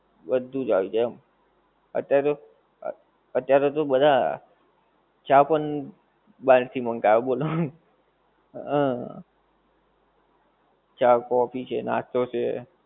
બધુજ આવી જાય એમ. અત્યારે તો, અત્યારે તો બધા ચા પણ બાર થી મંગાવે બોલો. હં ચા કોફી છે, નાશ્તો છે,